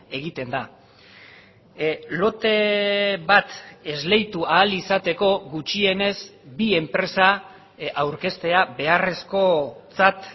egiten da lote bat esleitu ahal izateko gutxienez bi enpresa aurkeztea beharrezkotzat